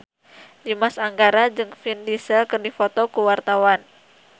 Dimas Anggara jeung Vin Diesel keur dipoto ku wartawan